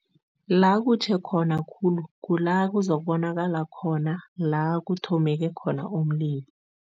La kutjhe khona khulu, kula kuzokubonakala khona la kuthomeke khona umlilo.